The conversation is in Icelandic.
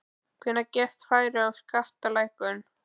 Hvenær gefst færi á skattalækkunum?